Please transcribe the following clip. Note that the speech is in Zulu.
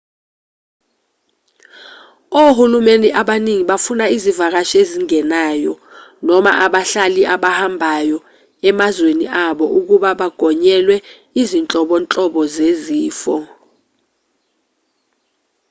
ohulumeni abaningi bafuna izivakashi ezingenayo noma abahlali abahambayo emazweni abo ukuba bagonyelwe izinhlobonhlobo zezifo